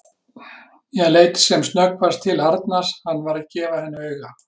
Ég leit sem snöggvast til Arnars, hann var að gefa henni auga.